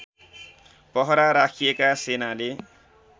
पहरा राखिएका सेनाले